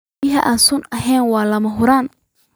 Biyo aan sun ahayn waa lama huraan.